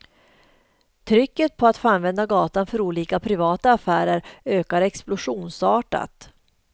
Trycket på att få använda gatan för olika privata affärer ökar explosionsartat.